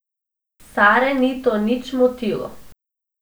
Sare ni to nič motilo.